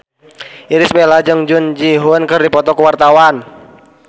Irish Bella jeung Jung Ji Hoon keur dipoto ku wartawan